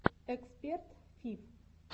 эксперт фиф